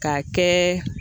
K'a kɛ